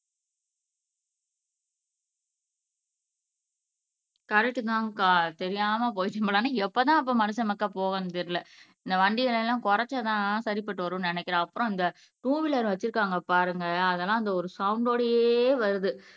correct தான் அக்கா தெரியாமல் எப்பதான் அப்ப மனுஷன் மக்கா போவேன்னு தெரியலே இந்த வண்டிகளை எல்லாம் குறைச்சாதான் சரிப்பட்டு வரும்ன்னு நினைக்கிறேன் அப்புறம் இந்த டூவீலர் வச்சிருக்காங்க பாருங்க அதெல்லாம் அந்த ஒரு சவுண்ட் ஓடையே வருது